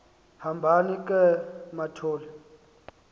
hambani ke mathol